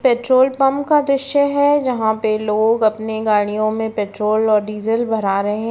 Petrol pump का दृश्य है। जहाँ पे लोग अपने गाड़ियो मे पेट्रोल और डीजल भरा रहे --